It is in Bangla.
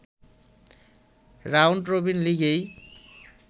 round robin লিগই